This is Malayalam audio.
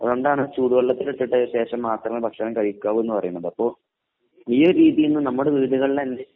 അതുകൊണ്ടാണ് ചൂടുവെള്ളത്തിലിട്ടിട്ട് ശേഷം മാത്രമേ ഭക്ഷണം കഴിക്കാവൂ എന്നു പറയുന്നത് അപ്പൊ ഈയൊരു രീതിയില് നമ്മുടെ വീടുകളിലന്നെ